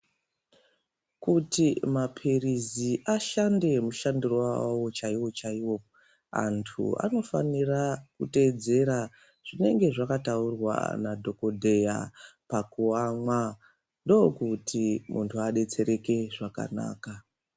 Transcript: Kuti mapirisi ashande mushandiro wawo chaiwo chaiwo, antu anofanira kuteedzera zvinenge zvakataurwa nadhokodheya pakuamwa ndokuti muntu adetsereke zvakanaka.